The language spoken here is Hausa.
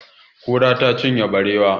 Kura ta cinye barewa.